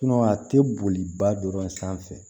a tɛ boliba dɔrɔn sanfɛ